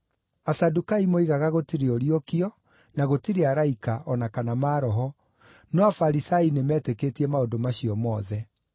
(Asadukai moigaga gũtirĩ ũriũkio, na gũtirĩ araika, o na kana maroho, no Afarisai nĩmetĩkĩtie maũndũ macio mothe.)